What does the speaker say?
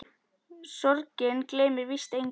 Sorgin gleymir víst engum.